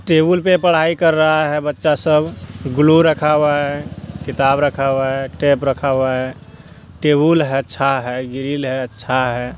Table पर पढ़ाई कर रहा है बच्चा सब ग्लू रखावा है किताब रखा है टेप रखा है टेबुल हैअच्छा है ग्रील हैअच्छा है।